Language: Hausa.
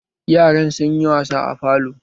Yaran sun yi wasa a falo